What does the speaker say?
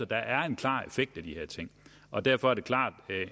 der er en klar effekt af de her ting og derfor er det klart